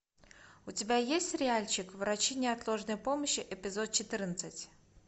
у тебя есть сериальчик врачи неотложной помощи эпизод четырнадцать